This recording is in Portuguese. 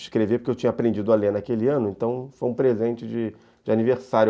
Escrevi porque eu tinha aprendido a ler naquele ano, então foi um presente de de aniversário.